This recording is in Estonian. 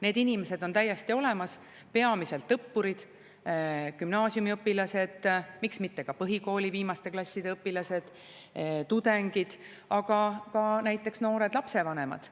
Need inimesed on täiesti olemas: peamiselt õppurid, gümnaasiumiõpilased, miks mitte ka põhikooli viimaste klasside õpilased, tudengid, aga ka näiteks noored lapsevanemad.